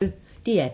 DR P1